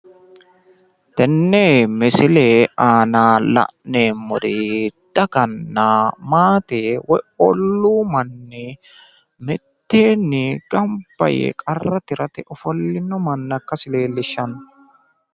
Tenne misile aana la'neemmori daganna maate woyi olluu manni miteenni gamba yee qarra tirate yee ofollino manna ikkasi leellishanno.